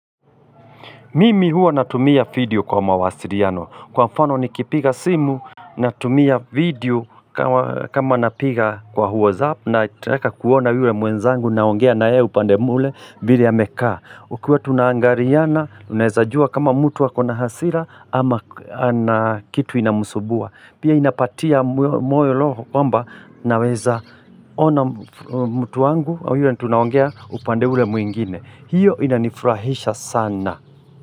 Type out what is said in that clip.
Mimi huwa natumia video kwa mawasiriano. Kwa mfano nikipiga simu, natumia video kama napiga kwa whatsapp nataka kuona yule mwenzangu naongea naye upande mle vile amekaa. Ukiwa tunaangariana, unaezajua kama mtu wako na hasira ama na kitu inamsubua. Pia inapatia moyo loho kwamba naweza ona mtu wangu au yule tunaongea upande ule mwingine. Hiyo inanifurahisha sana.